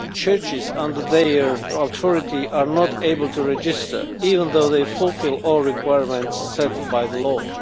Churches under their authority are not able to register, even though they fulfil all requirements set by the law.